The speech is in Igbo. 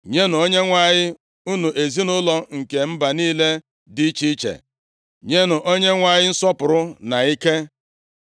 Nyenụ Onyenwe anyị, unu ezinaụlọ nke mba niile dị iche iche, nyenụ Onyenwe anyị nsọpụrụ na ike.